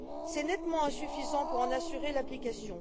C'est nettement insuffisant pour en assurer l'application.